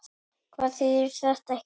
Hvað þýðir þetta hér?